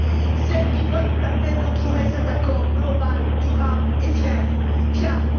C'est elle qui doit nous permettre de trouver cet accord global, durable et fiable.